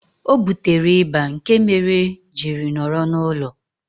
Ọ butere ịba nke mere jiri nọrọ n'ulo